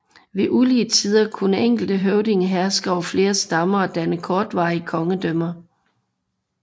Ved ulige tider kunne enkelte høvdinge herske over flere stammer og danne kortvarige kongedømmer